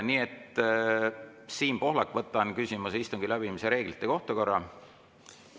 Siim Pohlak, küsimus istungi läbiviimise reeglite kohta korra, palun!